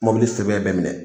Mobili sɛbɛn bɛɛ minɛ